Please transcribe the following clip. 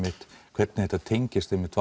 hvernig þetta tengist einmitt